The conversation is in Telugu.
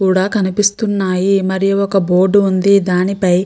కూడా కనిపిస్తున్నాయి మరియు ఒక బోర్డు ఉంది దానిపై --